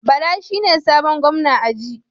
Bala shine sabon gwamna aji